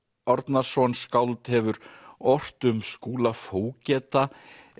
Árnason skáld hefur ort um Skúla fógeta